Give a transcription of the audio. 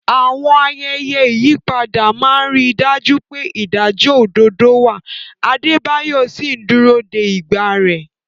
Àwọn ayẹyẹ ìyípadà máa ń rí i dájú pé ìdájọ́ òdodo wà, Adebayo sì ń dúró de ìgbà rẹ̀.